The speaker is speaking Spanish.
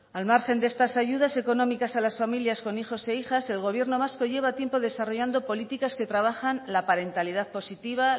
al margen de estas ayudas económicas a las familias con hijos e hijas el gobierno vasco lleva tiempo desarrollando políticas que trabajan la parentalidad positiva